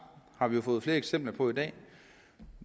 har vi jo fået flere eksempler på i dag